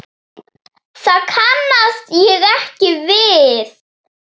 Það kannast ég ekki við.